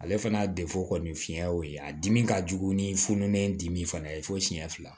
Ale fana kɔni fiɲɛ y'o ye a dimi ka jugu ni fununen dimi fana ye fo siɲɛ fila